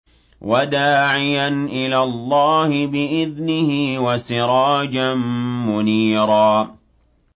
وَدَاعِيًا إِلَى اللَّهِ بِإِذْنِهِ وَسِرَاجًا مُّنِيرًا